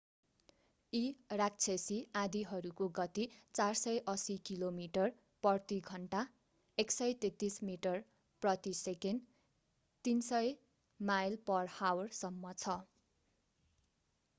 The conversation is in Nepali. यी राक्षसी आँधीहरूको गती 480 किलोमिटर/घण्टा 133 मिटर/सेकेण्ड; 300 mph सम्म छ।